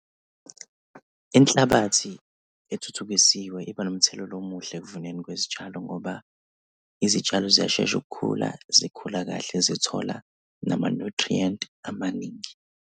Inhlabathi ethuthukisiwe iba nomthelela omuhle ekuvuneni kwezitshalo ngoba izitshalo ziyashesha ukukhula zikhula kahle zithola nama-nutrient amaningi.